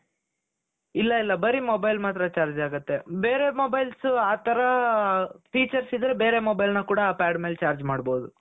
ಇಲ್ಲ ಇಲ್ಲ ಬರೀ mobile ಮಾತ್ರ charge ಆಗುತ್ತೆ ಬೇರೆ mobiles ಆ ತರ features ಇದ್ದರೆ ಬೇರೆ mobileನ ಕೂಡಾ ಆ pad ಮೇಲೆ charge ಮಾಡಬಹುದು .